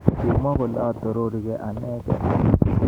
Kimwa kole 'atororigei anegei.'